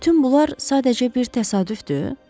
Bütün bunlar sadəcə bir təsadüfdür?